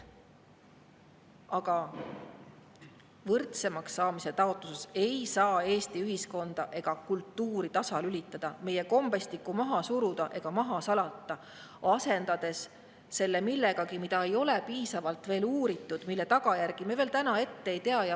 Aga võrdsemaks saamise taotluses ei saa Eesti ühiskonda ega kultuuri tasalülitada, meie kombestikku maha suruda ega maha salata, asendades selle millegagi, mida ei ole veel piisavalt uuritud, mille tagajärgi me veel täna ette ei tea.